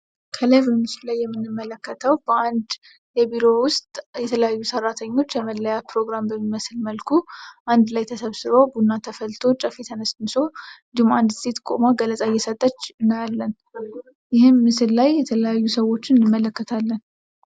ከላይ በምስሉ ላይ የምንመለከተው በአንድ ቢሮ ውስጥ የተለያዩ ሰራተኞች የመለያያ ፕሮግራም በሚመስል መልኩ አንድላይ ተሰብስበው ቡና ተፈልቶ ጨፌ ተነስንሶ ደግሞ አንድት ሴት ቁማ ገለጻ እየሰጠች እናያለን። ይህም ምስል ላይ የተለያዩ ሰዎችን እንመለከታለን።